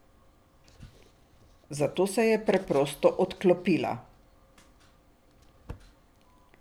Zato se je preprosto odklopila.